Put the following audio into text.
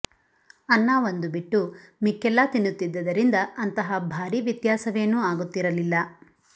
ಅನ್ನ ಒಂದು ಬಿಟ್ಟು ಮಿಕ್ಕೆಲ್ಲಾ ತಿನ್ನುತ್ತಿದ್ದರಿಂದ ಅಂತಹ ಭಾರೀ ವ್ಯತ್ಯಾಸವೇನೂ ಆಗುತ್ತಿರಲಿಲ್ಲ